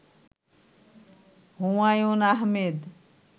Humayun Ahmed